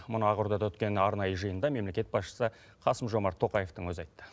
мұны ақордада өткен арнайы жиында мемлекет басшысы қасым жомарт тоқаевтың өзі айтты